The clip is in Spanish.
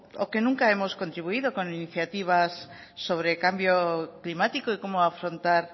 o que nunca hemos contribuido con iniciativas sobre cambio climático y cómo afrontar